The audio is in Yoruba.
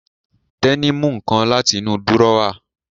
Tẹ́ní mú nǹkan láti inú dúrọ́à